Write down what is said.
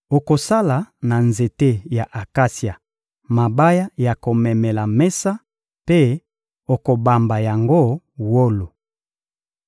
Okosala na nzete ya akasia mabaya ya komemela mesa mpe okobamba yango wolo.